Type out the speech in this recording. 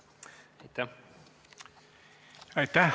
Aitäh!